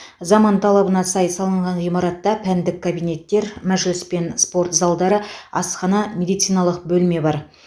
заман талабына сай салынған ғимаратта пәндік кабинеттер мәжіліс пен спорт залдары асхана медициналық бөлме бар